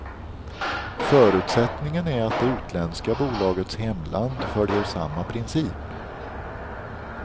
Förutsättningen är att det utländska bolagets hemland följer samma princip.